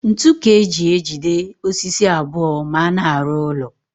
Ntu ka e ji ejide osisi abụọ ma a na-arụ ụlọ